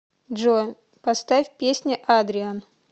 джой поставь песня адриан